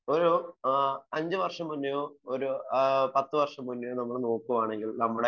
ഒരു അഞ്ചു വര്ഷം മുന്നെയോ ഒരു പത്തു വര്ഷം മുന്നെയോ നോക്കുകയാണെങ്കിൽ നമ്മളെ